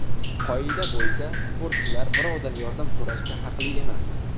Qoida bo‘yicha, sportchilar birovdan yordam so‘rashga haqli emas.